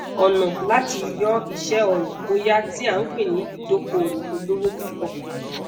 ona lati yo ise oro boya ti a npe ni idokowo olowo pupo